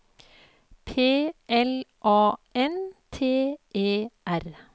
P L A N T E R